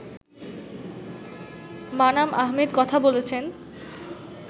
মানাম আহমেদ কথা বলেছেন